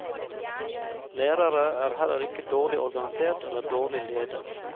Lærere er heller ikke dårlig organisert eller dårlig ledet.